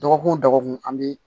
Dɔgɔkun o dɔgɔkun an bɛ